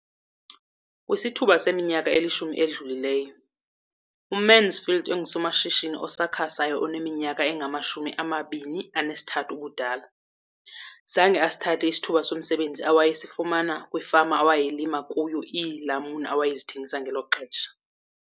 Kwisithuba seminyaka elishumi edlulileyo, uMansfield engusomashishini osakhasayo oneminyaka engama-23 ubudala, zange asithathe isithuba somsebenzi awayesifumana kwifama awayethenga kuyo iilamuni awayezithengisa ngelo xesha.